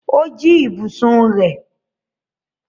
O jí ibùsùn rẹ̀?